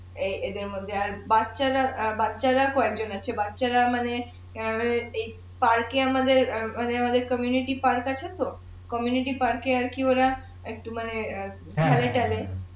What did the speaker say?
এ এ এদের মধ্যে আর বাচ্চারা অ্যাঁ বাচ্চারা কয়জন আছে বাচ্চারা মানে পার্কে আমাদের মানে আমাদের পার্ক আছে তো পার্কে আর কি ওরা একটু মানে